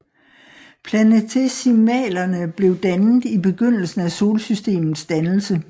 Planetesimalerne blev dannet i begyndelsen af solsystemets dannelse